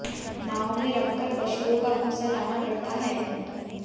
नाव में रखकर पशुओं का भूसा लाना पड़ता है